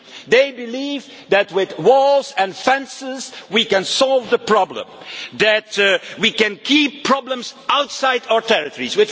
They believe that, with walls and fences, we can solve the problem and that we can keep problems outside our territories.